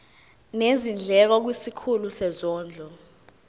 nezindleko kwisikhulu sezondlo